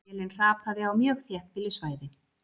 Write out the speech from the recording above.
Vélin hrapaði á mjög þéttbýlu svæði